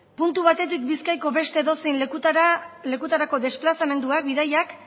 puntu batetik bizkaiko beste edozein lekutara lekutarako desplazamenduak bidaiak